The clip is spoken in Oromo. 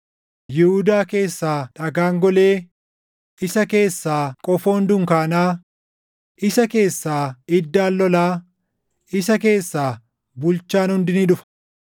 Yihuudaa keessaa dhagaan golee, isa keessaa qofoon dunkaanaa, isa keessaa iddaan lolaa, isa keessaa bulchaan hundi ni dhufa.